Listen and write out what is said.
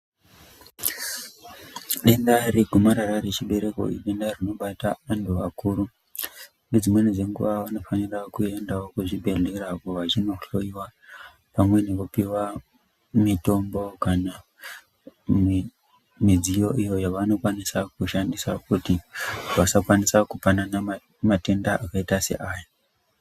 Denda regomarara rechibereko idenda rinobata antu akuru. Nedzimweni dzenguwa vanofana kuenda kuchibhedhleya vachindohloiwa. Pamwe nekupuwa mitombo kana midziyo iyo yavanokwanisa kushandisa kuti vasakwanisa kupanana matenda akaita seaya.